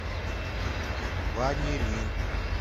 ванилин